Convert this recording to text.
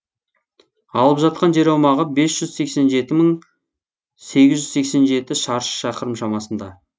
алып жатқан жер аумағы бес жүз сексен жеті мың сегіз жүз сексен жеті шаршы шақырым шамасында